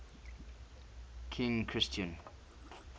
king christian